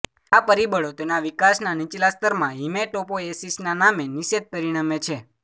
આ પરિબળો તેના વિકાસના નીચલા સ્તરમાં હીમેટોપોએસિસનામે નિષેધ પરિણમે છે